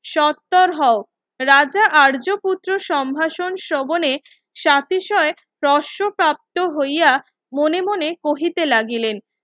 সত্তর হও রাজা আর্য পুত্র সম্ভাষণ শোভনে সাতিশয় প্রশপ্রাপ্ত হইয়া মনে মনে কহিতে লাগিলেন